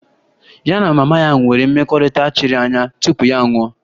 Ya na mama ya nwere mmekọrịta chiri anya tupu ya anwụọ